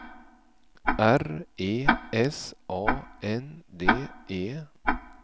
R E S A N D E